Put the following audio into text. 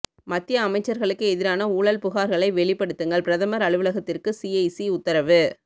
மத்திய அமைச்சர்களுக்கு எதிரான ஊழல் புகார்களை வெளிப்படுத்துங்கள் பிரதமர் அலுவலகத்திற்கு சிஐசி உத்தரவு